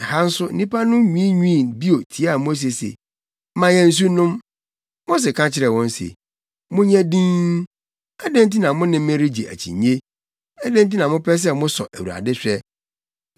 Ɛha nso nnipa no nwiinwii bio tiaa Mose sɛ, “Ma yɛn nsu nnom!” Mose ka kyerɛɛ wɔn se, “Monyɛ dinn! Adɛn nti na mo ne me regye akyinnye? Adɛn nti na mopɛ sɛ mosɔ Awurade hwɛ?”